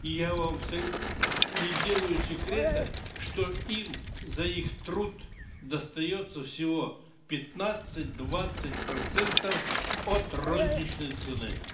и я вам не делаю секрета что им за их труд достается всего пятнадцать двадцать процентов от розничной цены